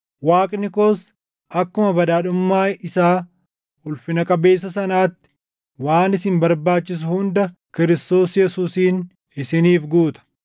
Waaqni koos akkuma badhaadhummaa isaa ulfina qabeessa sanaatti waan isin barbaachisu hunda Kiristoos Yesuusiin isiniif guuta.